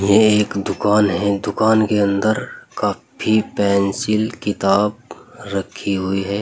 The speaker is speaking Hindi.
यह एक दुकान है दुकान के अंदर कापी पेंसिल किताब रखी हुई है।